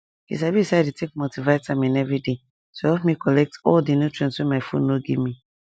you sabi say i dey take multivitamin every day to help me collect all the nutrients wey my food no give me